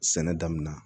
Sɛnɛ damina